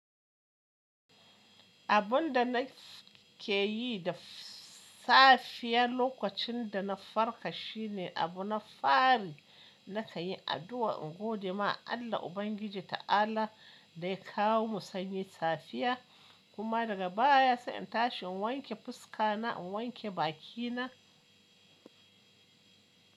Abun da na ke yi da safiya lokacin da na farka shine abu na fari na kan yi addu'a in gode ma Allah Ubangiji ta'ala da ya kawo mu sanyi safiya kuma daga baya sai in tashi in wanke fuska na, in wanke baki na.